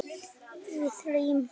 Við þráum hvíld.